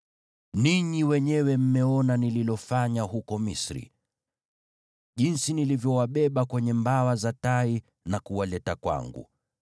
‘Ninyi wenyewe mmeona nililofanya huko Misri, jinsi nilivyowabeba kwenye mbawa za tai na kuwaleta kwangu.